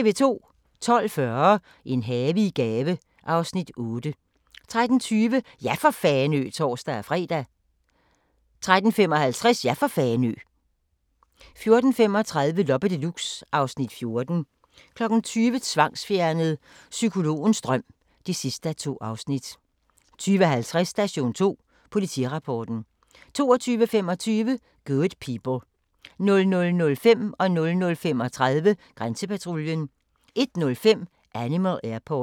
12:40: En have i gave (Afs. 8) 13:20: Ja for Fanø! (tor-fre) 13:55: Ja for Fanø! 14:35: Loppe Deluxe (Afs. 14) 20:00: Tvangsfjernet: Psykologens dom (2:2) 20:50: Station 2: Politirapporten 22:25: Good People 00:05: Grænsepatruljen 00:35: Grænsepatruljen 01:05: Animal Airport